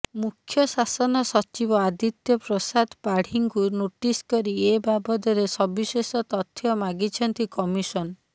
ମୁଖ୍ୟ ଶାସନ ସଚିବ ଆଦିତ୍ୟ ପ୍ରସାଦ ପାଢ଼ୀଙ୍କୁ ନୋଟିସ୍ କରି ଏ ବାବଦରେ ସବିଶେଷ ତଥ୍ୟ ମାଗିଛନ୍ତି କମିଶନ